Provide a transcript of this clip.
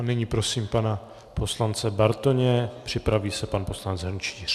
A nyní prosím pana poslance Bartoně, připraví se pan poslanec Hrnčíř.